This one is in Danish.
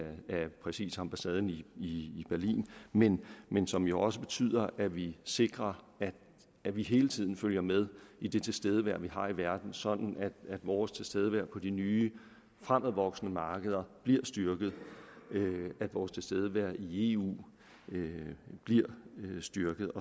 præcis ambassaden i berlin men men som jo også betyder at vi sikrer at vi hele tiden følger med i det tilstedevær vi har i verden sådan at vores tilstedevær på de nye fremvoksende markeder bliver styrket at vores tilstedevær i eu bliver styrket